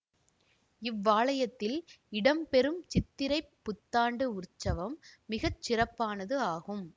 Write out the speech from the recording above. இவ்வாலயத்தில் இடம் பெறும் சித்திரைப் புத்தாண்டு உற்சவம் மிக சிறப்பானது ஆகும்